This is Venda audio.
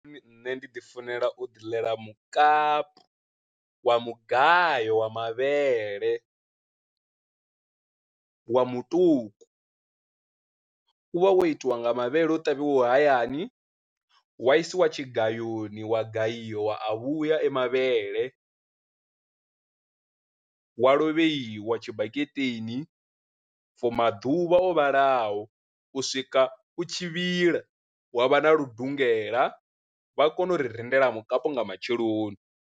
Nṋe ndi ḓi funela u ḓi ḽela mukapu wa mugayo wa mavhele wa muṱuku, u vha wo itiwa nga mavhele o ṱavhiwa hayani wa isiwa tshigayoni wa gayiwa a vhuya a mavhele wa lovheiwa tshibaketeni for maḓuvha o vhalaho, u swika u tshi vhila wa vha na ludungela vha kone u ri rindela mukapu nga matsheloni.